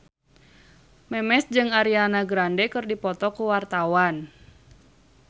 Memes jeung Ariana Grande keur dipoto ku wartawan